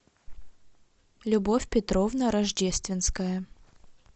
любовь петровна рождественская